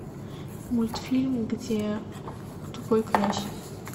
мультфильм где тупой князь